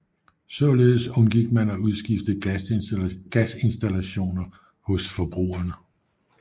Således undgik man at udskifte gasinstallationer hos forbrugerne